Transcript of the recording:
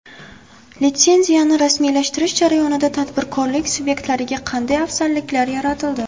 Litsenziyani rasmiylashtirish jarayonlarida tadbirkorlik subyektlariga qanday afzalliklar yaratildi?